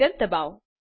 enter ડબાઓ